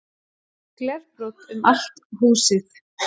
Glerbrot um allt húsið